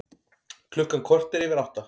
Klukkan korter yfir átta